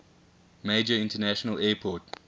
major international airport